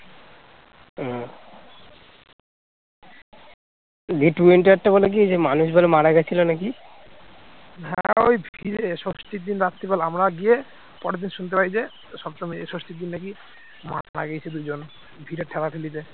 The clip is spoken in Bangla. হ্যাঁ ওই ভিড়ে ষষ্ঠীর দিন রাত্রি বেলা আমরা গিয়ে পরের দিন শুনতে পাই যে সপ্তমী ষষ্ঠীর দিন নাকি মারা গেছে দুজন, ভিড়ের ঠেলাঠেলিতে